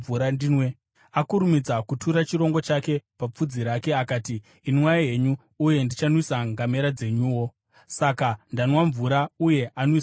“Akurumidza kutura chirongo chake papfudzi rake akati, ‘Inwai henyu, uye ndichanwisa ngamera dzenyuwo.’ Saka ndanwa mvura, uye anwisawo ngamera.